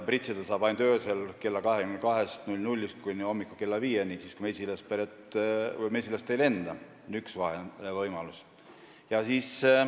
Pritsida saab ainult õhtul kella 22-st kuni hommikul kella 5-ni – siis, kui mesilased ei lenda.